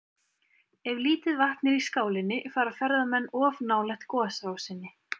Ef lítið vatn er í skálinni fara ferðamenn of nálægt gosrásinni.